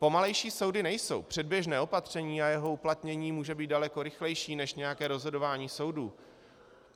Pomalejší soudy nejsou, předběžné opatření a jeho uplatnění může být daleko rychlejší než nějaké rozhodování soudů.